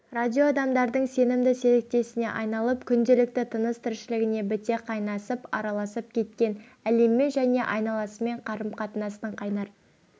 радио адамдардың сенімді серіктесіне айналып күнделікті тыныс тіршілігіне біте қайнасып араласып кеткен әлеммен және айналасымен қарым-қатынастың қайнар